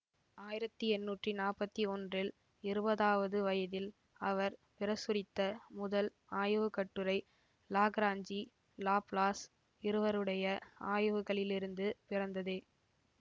ஆயிரத்தி எண்ணூத்தி நாற்பத்தி ஒன்றில் இருபதாவது வயதில் அவர் பிரசுரித்த முதல் ஆய்வுக்கட்டுரை லாக்ராஞ்சி லாப்லாஸ் இருவருடைய ஆய்வுகளிலிருந்து பிறந்ததே